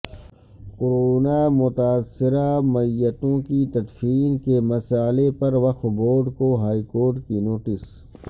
corona متاثرہ میتوں کی تدفین کے مسئلہ پر وقف بورڈ کو ہائیکورٹ کی نوٹس